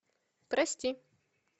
прости